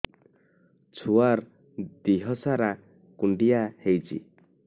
ଛୁଆର୍ ଦିହ ସାରା କୁଣ୍ଡିଆ ହେଇଚି